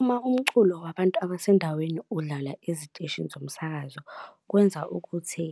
Uma umculo wabantu abasendaweni udlala eziteshini zomsakazo, kwenza ukuthi